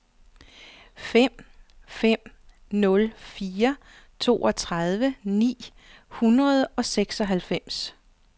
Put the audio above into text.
fem fem nul fire toogtredive ni hundrede og seksoghalvfems